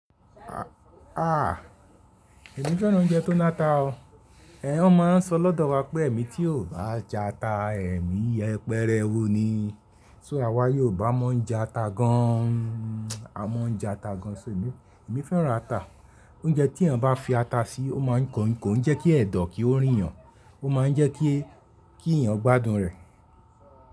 À, èmi fẹ́ràn oúnjẹ tó láta o. Ẹ̀hẹn, wọ́n máa ń sọ lọ́dọ̀ wa pé “èmi tí ò bá jata, èmi yẹpẹ́rẹ́wu ni?” So àwa Yorùbá mọ ń jata gan an, a mọ ń jata gan an. So èmi, èmi fẹ́ràn ata. Oúnjẹ tí èèyàn bá fi ata síí, ó máa ń kọ̀nkọ̀ń, ó ń jẹ́ kí ẹ̀dọ̀ kí ó rìn yàn, ó máa ń jẹ́ kí, kí èèyàn gbádùn rẹ̀